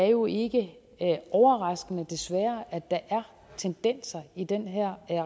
jo ikke er overraskende desværre at der er tendenser i den her